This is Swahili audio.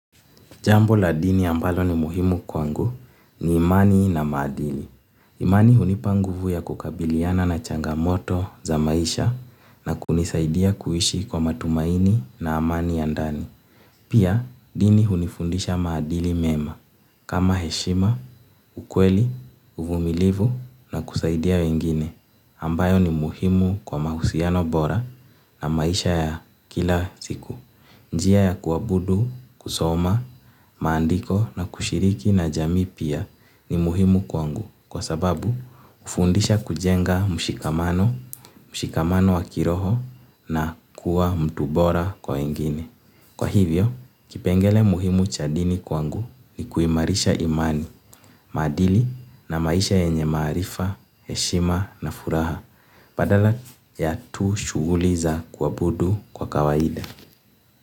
Jambo la dini ambalo ni muhimu kwangu ni imani na maadili. Imani hunipa nguvu ya kukabiliana na changamoto za maisha na kunisaidia kuishi kwa matumaini na amani ya ndani. Pia dini hunifundisha maadili mema kama heshima, ukweli, uvumilivu na kusaidia wengine ambayo ni muhimu kwa mahusiano bora na maisha ya kila siku. Njia ya kuabudu kusoma maandiko na kushiriki na jamii pia ni muhimu kwangu kwa sababu hufundisha kujenga mshikamano, mshikamano wakiroho na kuwa mtu bora kwa wengine. Kwa hivyo kipengele muhimu cha dini kwangu ni kuimarisha imani maadili na maisha yenye maarifa heshima na furaha. Badala ya tu shughuli za kuabudu kwa kawaida.